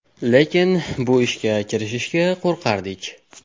Lekin bu ishga kirishishga qo‘rqardik.